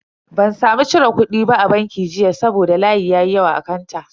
Ban samu cire kudi ba a banki jiya saboda layi ya yi yawa a kanta.